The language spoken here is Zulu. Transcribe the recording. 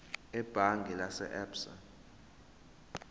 ebhange lase absa